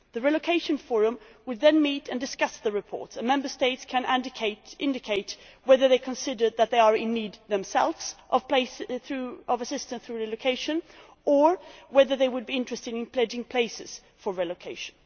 The relocation forum would then meet and discuss the reports and Member States can indicate whether they consider that they are in need themselves of assistance through relocation or whether they would be interested in pledging places for relocation.